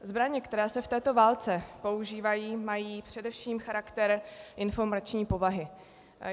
Zbraně, které se v této válce používají, mají především charakter informační povahy.